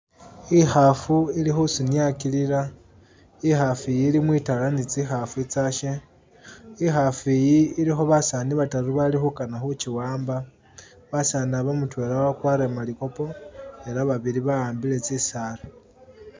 Ikhafu ili khusunyakilila ,ikhafu iyi ili mwitala ni tsikhafu itsyashe ,ikhafu iyi ilikho basaani bataru balikhukana khukiwamba, basaani aba mutwela wakwarire malikopo ela babili ba'ambile tsisaala